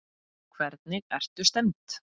Hvernig ertu stemmd?